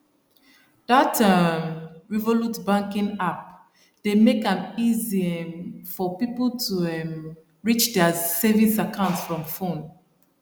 that um revolut banking app dey make am easy um for people to um reach their savings account from phone